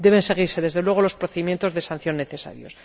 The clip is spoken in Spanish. Deben seguirse, desde luego, los procedimientos de sanción necesarios.